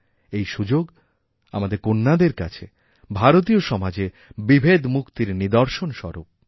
এই সুযোগআমাদের কন্যাদের কাছে ভারতীয় সমাজে বিভেদমুক্তির নিদর্শনস্বরূপ